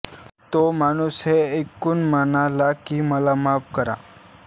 तो माणूस हे ऐकून म्हणाला मला माफ करा